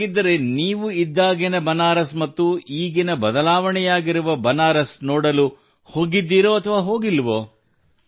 ಹಾಗಿದ್ದರೆ ಅಲ್ಲಿ ಇದ್ದಾಗಿನ ಬನಾರಸ್ ಮತ್ತು ಈಗಿನ ಬದಲಾವಣೆಯಾಗಿರುವ ಬನಾರಸ್ ನೋಡಲು ಹೋಗಿರುವಿರೋ ಅಥವಾ ಹೋಗಿಲ್ಲವೋ|